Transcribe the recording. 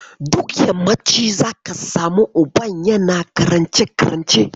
Duk yammaci zaki samu uban yana karance-karance.